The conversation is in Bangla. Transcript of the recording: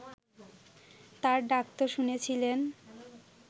তাঁর ডাক তো শুনেছিলেন